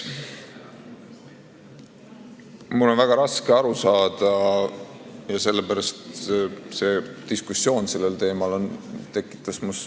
Mul on väga raske ühest asjast aru saada ja sellepärast tekitas ka diskussioon sellel teemal mus üldse kimbatust.